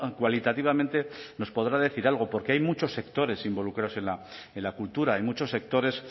cualitativamente nos podrá decir algo porque hay muchos sectores involucrados en la cultura hay muchos sectores